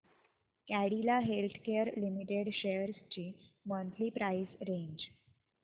Cadila healthcare limited shares ची monthly price range